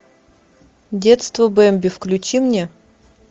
детство бемби включи мне